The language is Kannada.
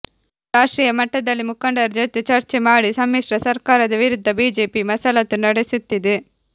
ರಾಷ್ಟ್ರೀಯ ಮಟ್ಟದಲ್ಲಿ ಮುಖಂಡರ ಜೊತೆ ಚರ್ಚೆ ಮಾಡಿ ಸಮ್ಮಿಶ್ರ ಸರ್ಕಾರದ ವಿರುದ್ಧ ಬಿಜೆಪಿ ಮಸಲತ್ತು ನಡೆಸುತ್ತಿದೆ